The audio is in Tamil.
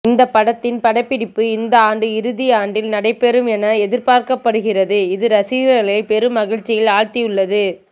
இந்த படத்தின் படப்பிடிப்பு இந்த ஆண்டு இறுதி ஆண்டில் நடைபெறும் என எதிர்பார்க்கப்படுகிறதுஇது ரசிகர்களை பெரும் மகிழ்ச்சியில் ஆழ்த்தியுள்ளது